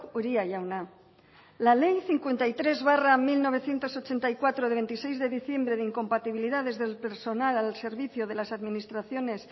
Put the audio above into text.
uria jauna la ley cincuenta y tres barra mil novecientos ochenta y cuatro de veintiséis de diciembre de incompatibilidades del personal al servicio de las administraciones